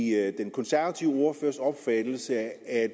er det den konservative ordførers opfattelse at